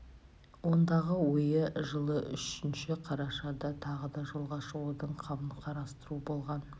ондағы ойы жылы үшінші қарашада тағы да жолға шығудың қамын қарастыру болған